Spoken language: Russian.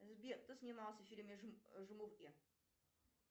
сбер кто снимался в фильме жмурки